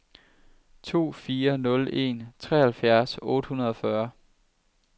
to fire nul en treoghalvfjerds otte hundrede og fyrre